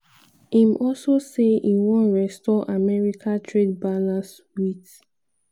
im also say e wan restore america trade balance wit